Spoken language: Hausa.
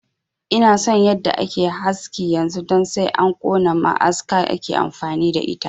Ina son yadda ake haski yanzu don sai an kona ma'aska ake amfani da ita